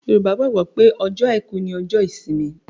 Yorùbá gbàgbọ́ pé ọjọ́ àìkú ni ọjọ́ ìsinmi